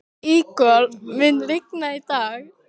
Ígor, mun rigna í dag?